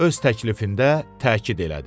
Öz təklifində təkid elədi.